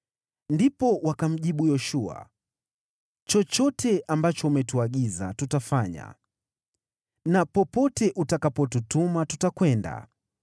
Ndipo wakamjibu Yoshua, “Chochote ambacho umetuagiza tutafanya na popote utakapotutuma tutakwenda.